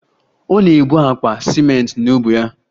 Ọ na-ebu akpa ciment n'ubu ya